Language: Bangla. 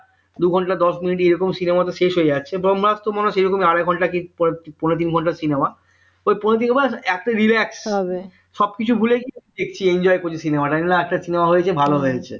দু ঘণ্টা দশ মিনিট এইরকম cinema টা শেষ হয়ে যাচ্ছে ব্রম্ভাস্ত্র মনে হয় আড়াই ঘন্টা কি পৌনে তিন ঘন্টা cinema ওই পৌনে তিন ঘন্টা একটা ril এ সবকিছু মিলে enjoy করেছি cinema টাই একটা cinema হয়েছে ভালো হয়েছে